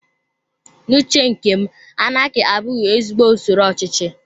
N'uche nkem, anaki abụghị ezigbo usoro ochichi